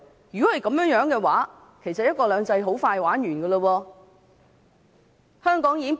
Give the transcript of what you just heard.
如果是這樣的話，"一國兩制"很快便會完結。